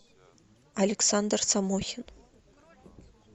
александр самохин